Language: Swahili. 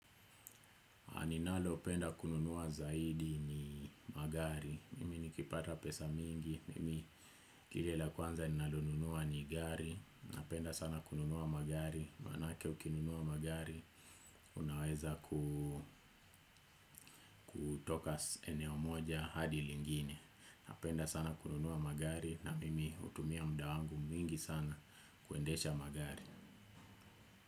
Aninalopenda kununua zaidi ni magari. Mimi nikipata pesa mingi. Mimi kile la kwanza ninalonunua ni gari. Napenda sana kununua magari. Maanake ukinunua magari, unaweza kutoka eneo moja hadi lingine. Napenda sana kununua magari na mimi hutumia muda wangu mwingi sana kuendesha magari.